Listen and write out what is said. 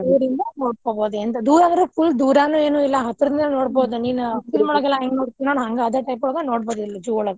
ದೂರಿಂದ ನೋಡ್ಕೊಬೋದು ದೂರ ಅಂದ್ರ್ full ದುರನೂ ಇಲ್ಲಾ ಹತ್ರದಿಂದ ನೋಡಬೋದ್ ಆದ ಒಳಗ ನೋಡಬೋದ ಇಲ್ಲೇ.